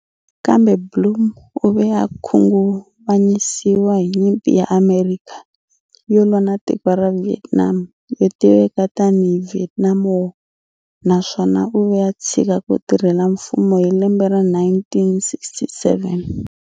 Kambe Blum u ve a khunguvanyisiwa hi nyimpi ya Amerika yo lwa na tiko ra Vietnam yo tiveka tani hi Vietnam War na swona u ve a tshika ku tirhela mfumo hi lembe ra 1967.